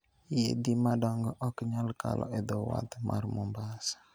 Yiedhi madongo ok nyal kalo e dho wath mar Mombasa.